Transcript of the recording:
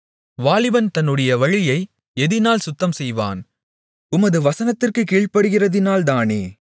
வாலிபன் தன்னுடைய வழியை எதினால் சுத்தம்செய்வான் உமது வசனத்திற்குக் கீழ்படிகிறதினால்தானே